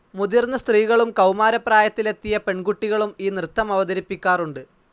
മുതിർന്ന സ്ത്രീകളും കൗമാരപ്രായത്തിലെത്തിയ പെൺകുട്ടികളും ഈ നൃത്തമവതരിപ്പിക്കാറുണ്ട്.